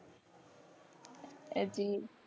હજી.